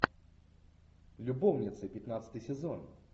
любовницы пятнадцатый сезон